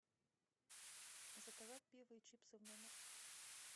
заказать пиво и чипсы в номер